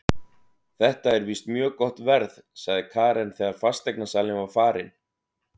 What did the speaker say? Þetta er víst mjög gott verð, sagði Karen þegar fasteignasalinn var farinn.